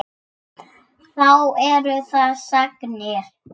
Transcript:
Þá eru það sagnir.